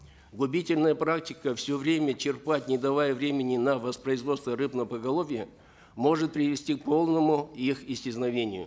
губительная практика все время черпать не давая времени на воспроизводство рыбного поголовья может привести к полному их исчезновению